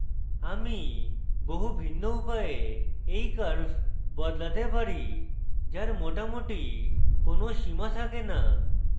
আমি বহু ভিন্ন উপায়ে এই curve বদলাতে পারি যার মোটামোটি কোনো সীমা থাকে no